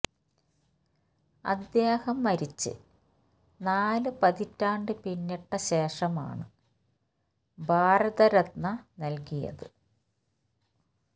അദ്ദേഹം മരിച്ച് നാല് പതിറ്റാണ്ട് പിന്നിട്ട ശേഷമാണ് ഭാരത രത്ന നല്കിയത്